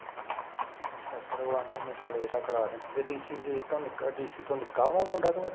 ਅੱਛਾ ਅੱਛਾ ਤੇ ਓਹ ਕਹਿੰਦੇ ਹੋਣੇ ਵੀ ਚੱਲ ਏਦਾਂ ਕਰਾ ਦਿੰਦੇ ਤੇ ਡੀਸੀ ਕੇ ਤੋਂ ਡੀਸੀ ਤੋਂ ਨਿੱਕਾ ਵਾ ਉਹ ਮੁੰਡਾ ਕਿ ਵੱਡਾ